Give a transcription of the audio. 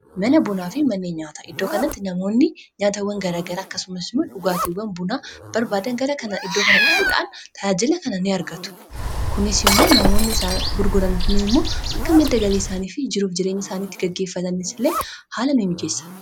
mana bunaa fi manneen nyaata iddoo kanatti namoonni nyaatawwan gara gara akkasumasimo dhugaatiwwan bunaa barbaadan gara kana iddoo kana dhufuudhaan tajaajila kana ni argatu kunis immoo namoonni isaa gurguran kunii immoo akka madda galii isaanii fi jiruuf jireenya isaaniitti gaggeeffatannis illee haala ni mijeessa